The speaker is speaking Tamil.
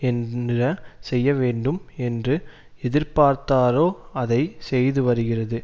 என்ன செய்ய வேண்டும் என்று எதிர்பார்த்தாரோ அதை செய்து வருகிறது